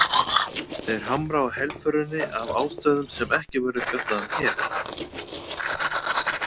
Þeir hamra á helförinni, af ástæðum sem ekki verður fjallað um hér.